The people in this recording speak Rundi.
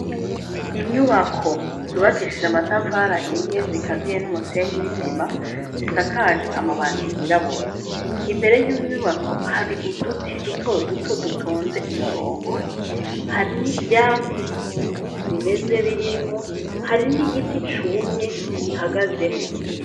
Inyubako zubakishije amatafari ahiye zikaziye n'umusenyi w'isima zisakaje amabati y'irabura imbere y'unyubako hari uduti duto duto dutonze umurongo hari n'ivyatsi bimeze birimwo hari n'igiti cumye gihagazemwo.